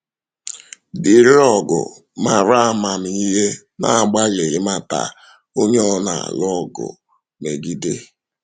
Dị̣ịrị ọgụ maara amamihe na-agbalị ịmata onye ọ na-alụ ọgụ megide.